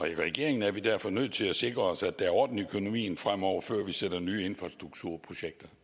i regeringen er vi derfor nødt til at sikre os at der er orden i økonomien fremover før vi sætter nye infrastrukturprojekter